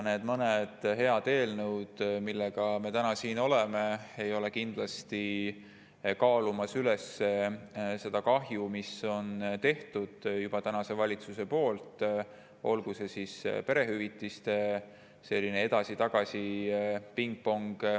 Need mõned head eelnõud, mis meil siin täna on, ei kaalu kindlasti üles seda kahju, mis valitsus on juba teinud, kas või perehüvitiste edasi-tagasi pingpong.